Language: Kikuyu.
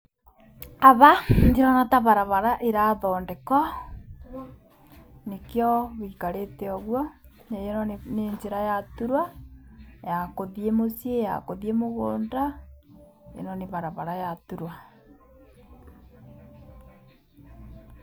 Ava ndĩrona ta varavara ĩrathondeko, nĩkĩo gwĩikarĩte ũguo, ĩno nĩ njĩra ĩraturwo, ya kũthiĩ mũciĩ, ya kũthiĩ mũgũnda, ĩno nĩ varavara ĩraturwa.